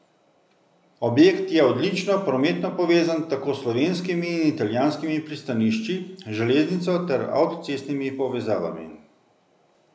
Objekt je odlično prometno povezan tako s slovenskimi in italijanskimi pristanišči, železnico ter avtocestnimi povezavami.